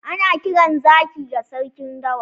Ana kiran Zaki da sarkin dawa.